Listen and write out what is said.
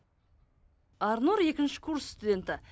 арнұр екінші курс студенті